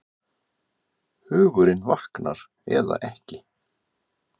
Hugurinn vaknar eða ekki.